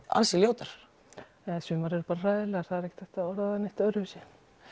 ansi ljótar sumar eru bara hræðilegar það er ekki hægt að orða það öðruvísi